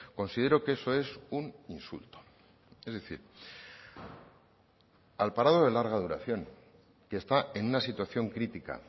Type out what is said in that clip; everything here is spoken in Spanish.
considero que eso es un insulto es decir al parado de larga duración que está en una situación crítica